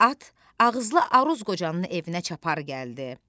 At ağızlı Aruz qocanın evinə çapar gəldi.